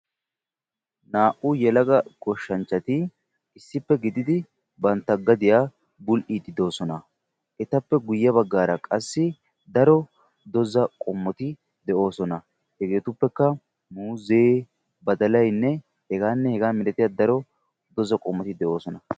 Naa"u yelaga goshshanchati issippe gididi banta gadiya bul'iidi de'oososna. Etappe guyeera qassi daro dozza qommoti de'oososna. Hegeetuppekka muzee, badalaynne daro dozza qommoti de'oososna.